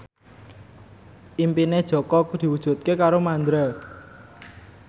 impine Jaka diwujudke karo Mandra